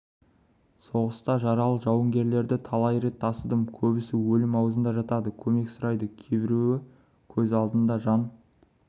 соғыста жаралы жауынгерлерді талай рет тасыдым көбісі өлім аузында жатады көмек сұрайды кейбіреуі көз алдыңда жан